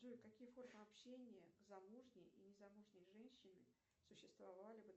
джой какие формы общения замужней и незамужней женщины существовали